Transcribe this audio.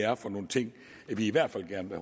er for nogle ting vi i hvert fald gerne